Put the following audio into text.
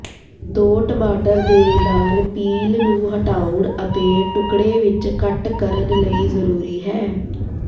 ਦੋ ਟਮਾਟਰ ਦੇ ਨਾਲ ਪੀਲ ਨੂੰ ਹਟਾਉਣ ਅਤੇ ਟੁਕੜੇ ਵਿੱਚ ਕੱਟ ਕਰਨ ਲਈ ਜ਼ਰੂਰੀ ਹੈ